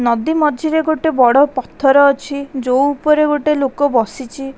ନଦୀ ମଝିରେ ଗୋଟେ ବଡ଼ ପଥର ଅଛି ଯୋଉ ଉପରେ ଗୋଟେ ଲୋକ ବସିଛି--